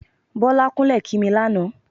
Bọ́lá kúnlẹ̀ kí mi lánàá.